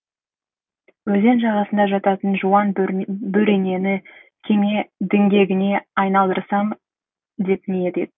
өзен жағасында жататын жуан бөренені кеме діңгегіне айналдырсам деп ниет етті